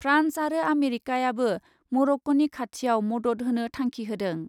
France आरो आमेरिकाआबो मर'क्क'नि खाथियाव मदद होनो थांखि होदों ।